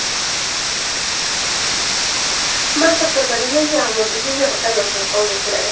Mansabdorlarning yangi avlodi bunga tayyor holda keladi.